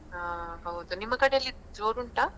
ಹಾ ಹೌದು ನಿಮ್ಮ ಕಡೆಯಲ್ಲಿ ಜೊರುಂಟಾ?